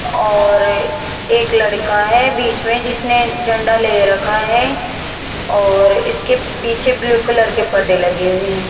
और एक लड़का है बीच में जिसने झंडा ले रखा है और इसके पीछे ब्लू कलर के पर्दे लगे हुए हैं।